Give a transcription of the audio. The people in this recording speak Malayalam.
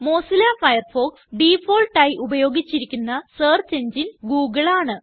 മൊസില്ല ഫയർഫോക്സ് ഡിഫാൾട്ട് ആയി ഉപയോഗിച്ചിരിക്കുന്ന സെർച്ച് എങ്ങിനെ ഗൂഗിൾ ആണ്